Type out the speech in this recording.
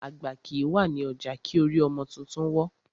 Àgbà kìí wà ní ọjà kí orí ọmọ tuntun wọ́.